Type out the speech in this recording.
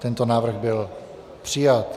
Tento návrh byl přijat.